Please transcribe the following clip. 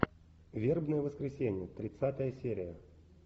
вербное воскресенье тридцатая серия